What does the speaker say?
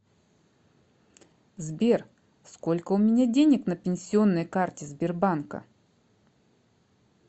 сбер сколько у меня денег на пенсионной карте сбербанка